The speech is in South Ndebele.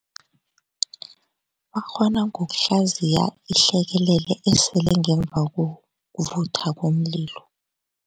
Bakghona ngokuhlaziya ihlekelele esele ngemva kokuvutha komlilo.